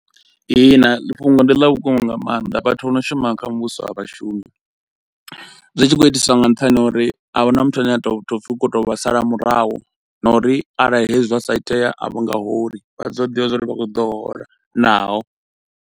Ihina ḽi fhungo ndi ḽa vhukuma nga maanḓa vhathu vho no shuma kha muvhuso a vha vhashumi zwi tshi khou itiswa nga nṱhani ha uri ahuna muthu ane a tou tou pfi u khou tou vha sala murahu na uri arali hezwi zwa sa itea a vha nga holi vha ḓo ḓivha zwa uri vha khou ḓo hola naho.